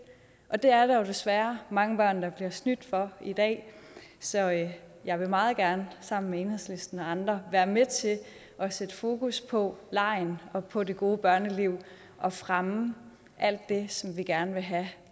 og det er der jo desværre mange børn der bliver snydt for i dag så jeg jeg vil meget gerne sammen med enhedslisten og andre være med til at sætte fokus på legen og på det gode børneliv og fremme alt det som vi gerne vil have at